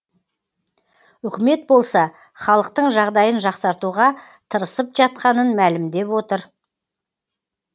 үкімет болса халықтың жағдайын жақсартуға тырысып жатқанын мәлімдеп отыр